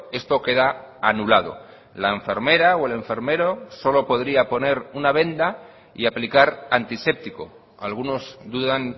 esto queda anulado la enfermera o el enfermero solo podría poner una venda y aplicar antiséptico algunos dudan